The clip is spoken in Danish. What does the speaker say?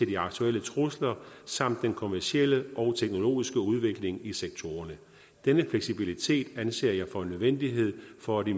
de aktuelle trusler samt den kommercielle og teknologiske udvikling i sektorerne denne fleksibilitet anser jeg for en nødvendighed for at